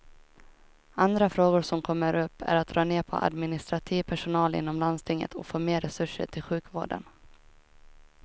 Andra frågor som kommer upp är att dra ner på administrativ personal inom landstinget och få mer resurser till sjukvården.